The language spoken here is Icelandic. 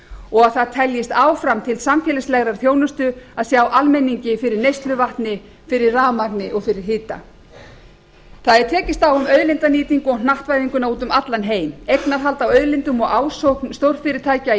og að það teljist áfram til samfélagslegrar þjónustu að sjá almenningi fyrir neysluvatni fyrir rafmagni og fyrir hita það er tekist á um auðlindanýtingu og hnattvæðinguna úti um allan heim eignarhald á auðlindum og ásókn stórfyrirtækja í